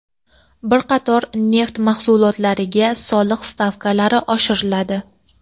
Bir qator neft mahsulotlariga soliq stavkalari oshiriladi.